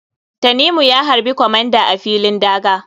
Tanimu ya harɓi comander a filin daga.